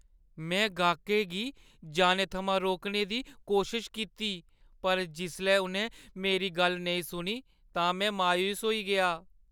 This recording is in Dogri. में गाह्कें गी जाने थमां रोकने दी कोशश कीती पर जिसलै उʼनें मेरी गल्ल नेईं सुनी तां में मायूस होई गेआ।